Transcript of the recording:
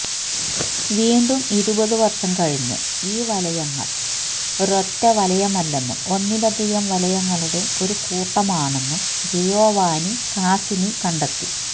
വീണ്ടും ഇരുപതുവർഷം കഴിഞ്ഞ് ഈ വലയങ്ങൾ ഒരൊറ്റ വലയമല്ലെന്നും ഒന്നിലധികം വലയങ്ങളുടെ ഒരു കൂട്ടമാണെന്നും ജിയോവാനി കാസിനി കണ്ടെത്തി